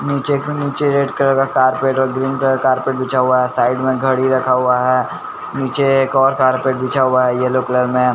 नीचे नीचे red colour का कार्पेट और ग्रीन कलर का कार्पेट बिछा हुआ है साइड में घड़ी रखा हुआ है नीचे एक और कार्पेट बिछा हुआ है येलो कलर में --